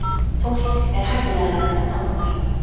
Fólk er hættulegra en álfar.